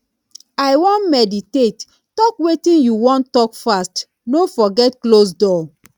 i wan meditate talk wetin you wan talk fast no forget close door